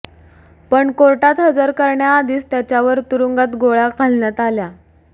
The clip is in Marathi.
पण कोर्टात हजर करण्याआधीच त्याच्यावर तुरूंगात गोळ्या घालण्यात आल्या